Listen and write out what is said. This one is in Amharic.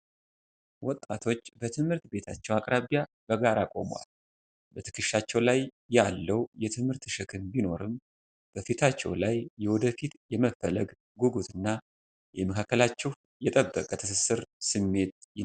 ወጣቶች በትምህርት ቤታቸው አቅራቢያ በጋራ ቆመዋል። በትከሻቸው ላይ ያለው የትምህርት ሸክም ቢኖርም፣ በፊታቸው ላይ የወደፊትን የመፈለግ ጉጉትና የመካከላችሁ የጠበቀ ትስስር ስሜት ይነበባል።